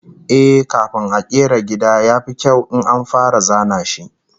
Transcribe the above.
Eh, kafin a kera gida, ya fi kyau in an fara zana shi